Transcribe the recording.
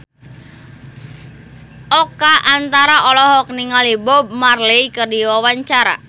Oka Antara olohok ningali Bob Marley keur diwawancara